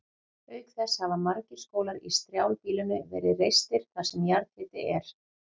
Auk þess hafa margir skólar í strjálbýlinu verið reistir þar sem jarðhiti er.